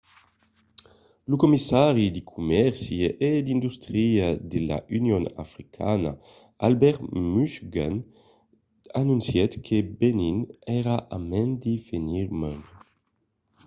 lo commissari de comèrci e d’industria de l'union africana albert muchanga anoncièt que benin èra a mand de venir membre